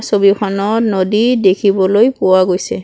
ছবিখনত নদী দেখিবলৈ পোৱা গৈছে।